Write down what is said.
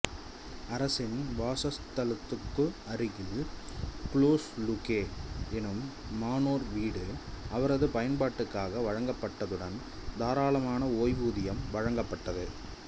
அரசரின் வாசஸ்தலத்துக்கு அருகில் குளொஸ் லுகே என்னும் மனோர் வீடு அவரது பயன்பாட்டுக்காக வழங்கப்பட்டதுடன் தாராளமன ஓய்வூதியமும் வழங்கப்பட்டது